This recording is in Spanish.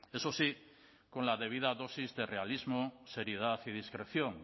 eso sí con la debida dosis de realismo seriedad y discreción